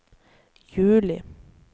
juli